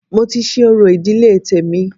Mo ti ṣe orò ìdílé tèmi